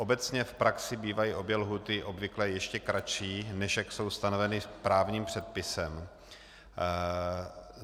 Obecně v praxi bývají obě lhůty obvykle ještě kratší, než jak jsou stanoveny právním předpisem.